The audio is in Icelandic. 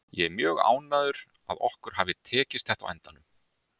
Ég er mjög ánægður að okkur hafi tekist þetta á endanum.